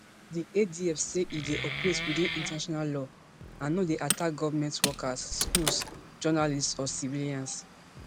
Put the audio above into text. di adf say e dey operate within international law and no dey attack government workers schools journalists or civilians